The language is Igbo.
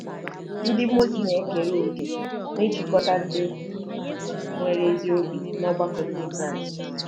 Ndị mmụọ ozi na-ekere òkè n'ịchịkọta ndị nwere ezi obi n'ọgbakọ Ndị Kraịst